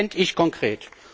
Das fände ich konkret.